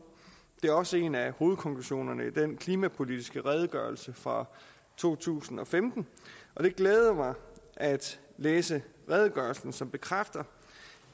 det er også en af hovedkonklusionerne i den klimapolitiske redegørelse fra to tusind og femten og det glædede mig at læse redegørelsen som bekræfter